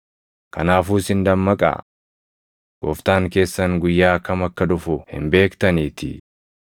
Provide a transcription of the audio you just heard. “Kanaafuu isin dammaqaa; Gooftaan keessan guyyaa kam akka dhufu hin beektaniitii.